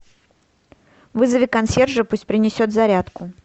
вызови консьержа пусть принесет зарядку